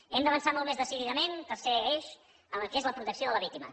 hem d’avançar molt més decididament tercer eix en el que és la protecció de la víctima